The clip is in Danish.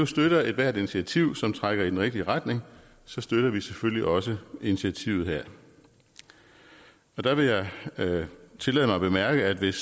støtter ethvert initiativ som trækker i den rigtige retning så støtter vi selvfølgelig også initiativet her der vil jeg tillade mig at bemærke at hvis